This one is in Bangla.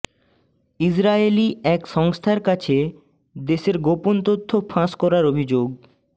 ইজরায়েলী এক সংস্থার কাছে দেশের গোপন তথ্য ফাঁস করার অভিযোগ